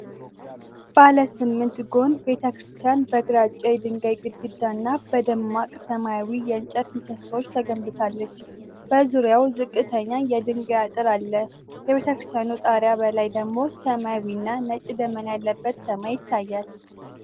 ባለ ስምንት ጎን ቤተ ክርስቲያን በግራጫ የድንጋይ ግድግዳ እና በደማቅ ሰማያዊ የእንጨት ምሰሶዎች ተገንብታለች። በዙሪያው ዝቅተኛ የድንጋይ አጥር አለ፤ የቤተ ክርስቲያኑ ጣሪያ በላይ ደግሞ ሰማያዊ እና ነጭ ደመና ያለበት ሰማይ ይታያል።